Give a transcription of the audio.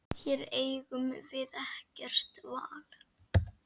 Hér eigum við ekkert val.